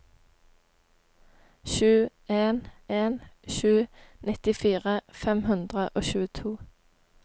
sju en en sju nittifire fem hundre og tjueto